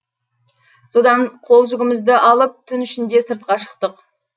содан қол жүгімізді алып түн ішінде сыртқа шықтық